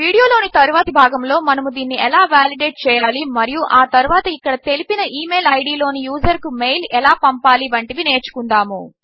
video లోని తరువాతి భాగములో మనము దీనిని ఎలా వాలిడేట్ చేయాలి మరియు ఆ తరువాత ఇక్కడ తెలిపిన email ఐడీ లోని యూజర్ కు మెయిల్ ఎలా పంపాలి వంటివి నేర్చుకుందాము